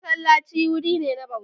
Masallaci wuri ne na bauta.